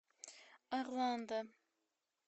орландо